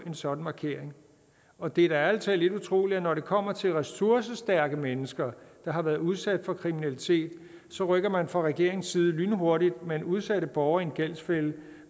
en sådan markering og det er da ærlig talt lidt utroligt at når det kommer til ressourcestærke mennesker der har været udsat for kriminalitet så rykker man fra regeringens side lynhurtigt men udsatte borgere i en gældsfælde